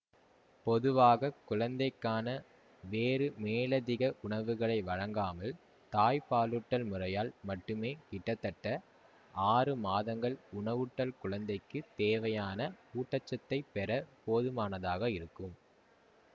பொதுவாக குழந்தைக்கான வேறு மேலதிக உணவுகளை வழங்காமல் தாய்ப்பாலூட்டல் முறையால் மட்டுமே கிட்டத்தட்ட ஆறு மாதங்கள் உணவூட்டல் குழந்தைக்குத் தேவையான ஊட்டச்சத்தைப் பெற போதுமானதாக இருக்கும்